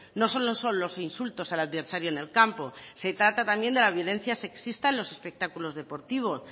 no solo son los insultos al adversario en el campo se trata también de la violencia sexista en los espectáculos deportivos